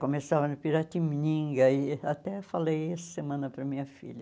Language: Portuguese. Começava no Piratininga e até falei essa semana para minha filha.